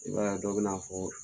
I b'a ye dɔ bɛna fɔ ko